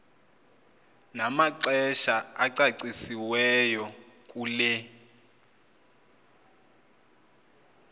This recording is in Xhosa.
namaxesha acacisiweyo kule